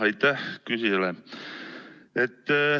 Aitäh küsijale!